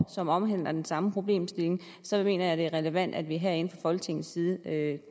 som omhandler den samme problemstilling mener jeg at det er relevant at vi herinde fra folketingets side